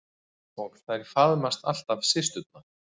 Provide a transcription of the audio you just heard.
Og þær faðmast alltaf systurnar.